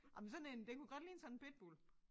Ej men sådan én den kunne godt ligne sådan en pitbull